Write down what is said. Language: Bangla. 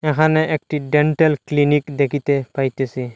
এখানে একটি ডেন্টাল ক্লিনিক দেখিতে পাইতেসি।